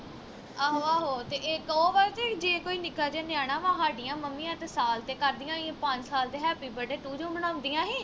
ਆਹੋ ਆਹੋ ਤੇ ਇਕ ਉਹ ਵਾ ਕੇ ਜੇ ਕੋਈ ਨਿੱਕਾ ਜਾ ਨਿਆਣਾ ਵਾ ਹਾਡੀਆਂ ਮੰਮੀਆਂ ਤੇ ਸਾਲ ਤੇ ਕਰਦੀਆਂ ਹੀ ਪੰਜ ਸਾਲ ਵਿਚ happy birthday to you ਮਨਾਉਂਦੀਆਂ ਹੀ